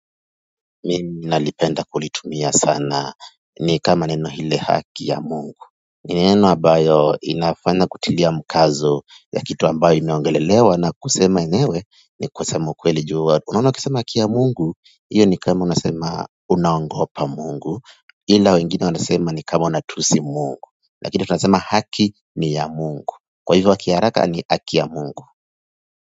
Mimi nalipenda kulitumia sana ni kama neno lile haki ya ya mungu ni neno ambayo inafanya kutilia mkazo ya kitu ambacho kinaongelelewa na kusema enyewe ni kusema ukweli unaona ukisema haki ya mungu iyo ni kama unasema unaogopa mungu ila wengine wanasema ni kama unatusi mungu lakini tunasema haki ni ya mungu kwa hivyo kwa kiharaka ni haki ya mungu.